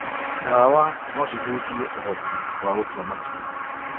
Ndawa no cihutie ũhoti wa gũtua matua.